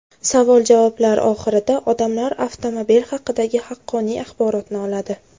Savol-javoblar oxirida odamlar avtomobil haqidagi haqqoniy axborotni oladi.